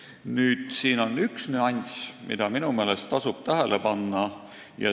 Nüüd, siin on üks nüanss, mida minu meelest tasub tähele panna.